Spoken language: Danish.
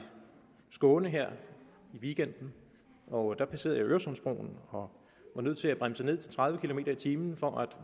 skåne her i weekenden og der passerede jeg øresundsbroen og var nødt til at bremse ned til tredive kilometer per time for at